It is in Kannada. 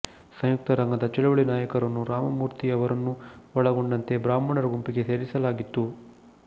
ಸಂಯುಕ್ತ ರಂಗದ ಚಳವಳಿ ನಾಯಕರನ್ನು ರಾಮಮೂರ್ತಿ ಅವರನ್ನೂ ಒಳಗೊಂಡಂತೆ ಬ್ರಾಹ್ಮಣರ ಗುಂಪಿಗೆ ಸೇರಿಸಲಾಗಿತ್ತು